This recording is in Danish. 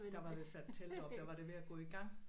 Der avr vist sat telt op der var det ved at gå i gang